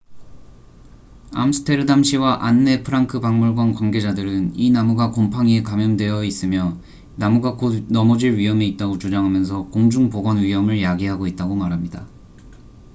암스테르담시와 안네 프랑크 박물관 관계자들은 이 나무가 곰팡이에 감염되어 있으며 나무가 곧 넘어질 위험이 있다고 주장하면서 공중 보건 위험을 야기하고 있다고 말합니다